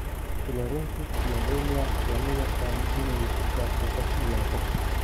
tularensis Tularemia lama yaqaan inay ku faafto qof ilaa qof.